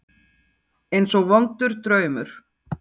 Eins og vondur draumur.